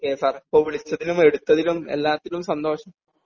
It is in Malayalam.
ഓ കെ സർ അപ്പോ വിളിച്ചതിലും എടുത്തത്തിലും എല്ലാത്തിലും സന്തോഷം